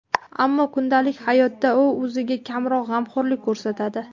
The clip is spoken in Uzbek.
Ammo kundalik hayotda u o‘ziga kamroq g‘amxo‘rlik ko‘rsatadi.